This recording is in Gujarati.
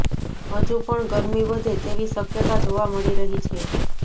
હજુ પણ ગરમી વધે તેવી શકયતા જોવા મળી રહી છે